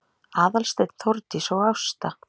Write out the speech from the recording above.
Aðalsteinn, Þórdís og Ásta